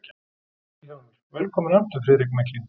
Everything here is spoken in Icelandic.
VILHJÁLMUR: Velkominn aftur, Friðrik mikli!